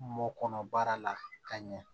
Mɔ kɔnɔ baara la ka ɲɛ